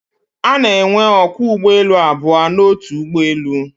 A na-enwe ókwá ụgbọelu abụọ n'otu ụgbọelu